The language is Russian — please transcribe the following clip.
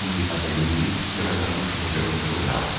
не подаю виду и равнодушно биржу